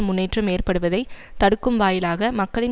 முன்னேற்றம் ஏற்படுவதை தடுக்கும் வாயிலாக மக்களின்